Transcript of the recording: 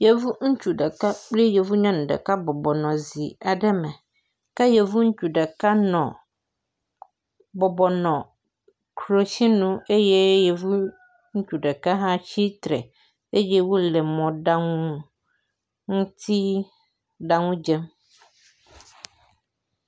Yevu ɛutsu ɖeka kple yevu nyɔnu ɖeka bɔbɔ nɔ zi aɖe me ke yevu ŋutsu ɖeka nɔ bɔbɔ nɔ klotsinu eye yevu ŋutsu ɖeka hã tsitre eye wole mɔɖanuŋutiɖanudzem.